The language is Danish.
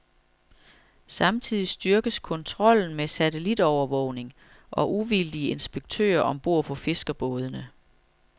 Samtidig styrkes kontrollen med satellitovervågning og uvildige inspektører om bord på fiskerbådene.